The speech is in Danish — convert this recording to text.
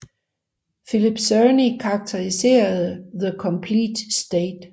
Philip Cerny karakteriserede The Competition State